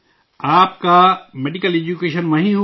آپ کا medical education وہیں ہوا